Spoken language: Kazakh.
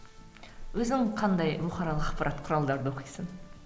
өзің қандай бұқаралық ақпарат құралдарды оқисың